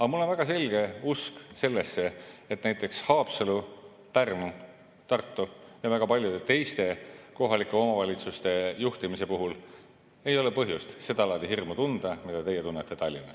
Aga mul on väga selge usk sellesse, et näiteks Haapsalu, Pärnu, Tartu ja väga paljude teiste kohalike omavalitsuste juhtimise puhul ei ole põhjust seda laadi hirmu tunda, mida teie tunnete Tallinnas.